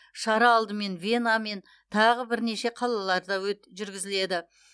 шара алдымен вена мен тағы бірнеше қалаларда жүргізіледі